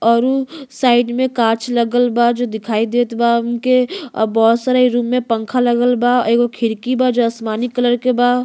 और उ साइड में कांच लगल बा जो दिखई देत बा उनके आ बहुत सारे रूम में पंखा लगल बा एगो खिड़की बा जो आसमानी कलर के बा।